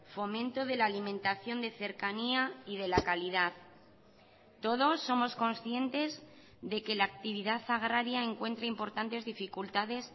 fomento de la alimentación de cercanía y de la calidad todos somos conscientes de que la actividad agraria encuentra importantes dificultades